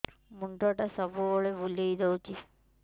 ମୁଣ୍ଡଟା ସବୁବେଳେ ବୁଲେଇ ଦଉଛି